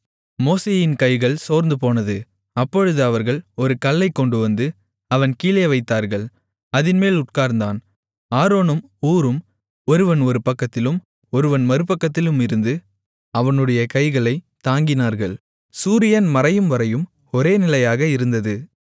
மோசேயின் கைகள் சோர்ந்துபோனது அப்பொழுது அவர்கள் ஒரு கல்லைக் கொண்டுவந்து அவன் கீழே வைத்தார்கள் அதின்மேல் உட்கார்ந்தான் ஆரோனும் ஊரும் ஒருவன் ஒரு பக்கத்திலும் ஒருவன் மறுபக்கத்திலும் இருந்து அவனுடைய கைகளைத் தாங்கினார்கள் இந்த விதமாக அவனுடைய கைகள் சூரியன் மறையும்வரையும் ஒரே நிலையாக இருந்தது